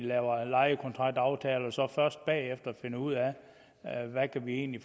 laver lejekontraktaftale og først bagefter finder ud af hvad de egentlig